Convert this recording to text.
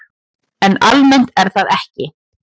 En almennt er það ekki.